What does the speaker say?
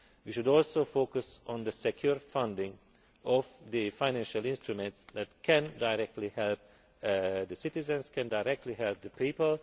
We should also focus on secure funding for the financial instruments that can directly help the